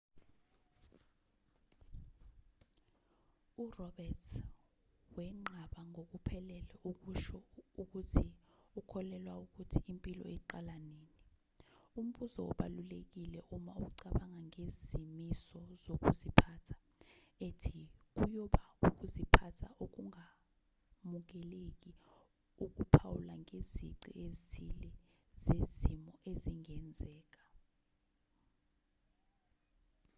uroberts wenqaba ngokuphelele ukusho ukuthi ukholelwa ukuthi impilo iqala nini umbuzo obalulekile uma ucabanga ngezimiso zokuziphatha ethi kuyoba ukuziphatha okungamukeleki ukuphawula ngezici ezithile zezimo ezingenzeka